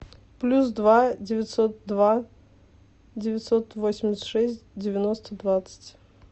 плюс два девятьсот два девятьсот восемьдесят шесть девяносто двадцать